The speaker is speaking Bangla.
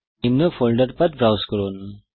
নিম্ন ফোল্ডার পাথ ব্রাউজ করুন